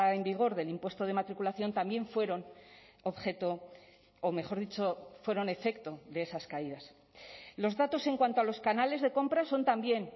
en vigor del impuesto de matriculación también fueron objeto o mejor dicho fueron efecto de esas caídas los datos en cuanto a los canales de compra son también